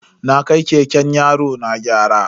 Na kai keken yarona gyara.